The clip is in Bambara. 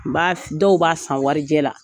N b'a dɔw b' san warijɛ la